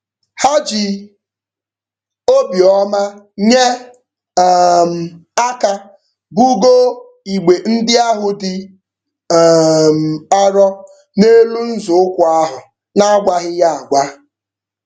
Ha ji obiọma nye um aka bugoo igbe ndị ahụ dị um arọ n'elu nzọụkwụ ahụ n'agwaghị ya agwa.